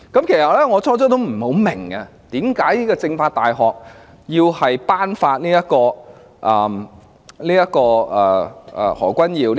其實，我最初也不明白，為何中國政法大學要頒發給何君堯議員......